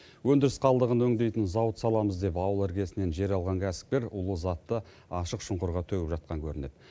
өндіріс қалдығын өңдейтін зауыт саламыз деп ауыл іргесінен жер алған кәсіпкер улы затты ашық шұңқырға төгіп жатқан көрінеді